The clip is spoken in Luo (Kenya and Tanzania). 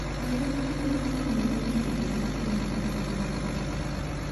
Oyud thuol mang'ongo e ndege mar Emirates mar dhii Dubai.